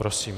Prosím.